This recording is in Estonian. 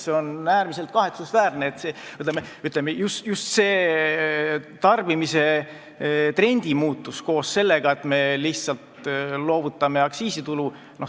See on äärmiselt kahetsusväärne, just see tarbimistrendi muutus, koos sellega, et me lihtsalt loovutame aktsiisitulu.